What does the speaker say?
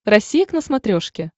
россия к на смотрешке